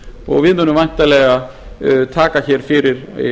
og við munum væntanlega taka hér fyrir